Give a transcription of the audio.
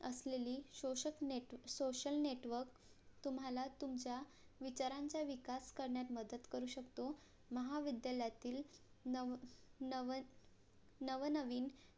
असलेली शोषक social NETWORK तुम्हाला तुमच्या विचारांचा विकास करण्यास मदत करू शकतो महाविद्यालयातील नव नव नवनवीन